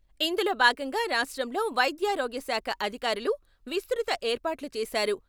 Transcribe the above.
ఇందులో భాగంగా రాష్ట్రంలో వైద్యారోగ్యాశాఖ అధికారులు విస్తృత ఏర్పాట్లు చేశారు.